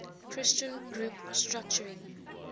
christian group structuring